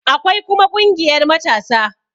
Akwai kuma ƙungiyar matasa